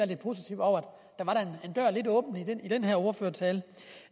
det positive over at i den her ordførertale